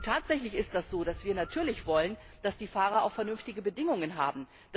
Tatsächlich ist das so, dass wir natürlich wollen, dass die Fahrer auch vernünftige Bedingungen haben.